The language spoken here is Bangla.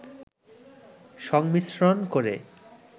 সংমিশ্রন করে